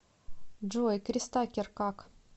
джой крис такер как